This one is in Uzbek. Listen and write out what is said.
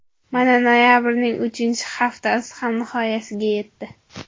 Mana, noyabrning uchinchi haftasi ham nihoyasiga yetdi.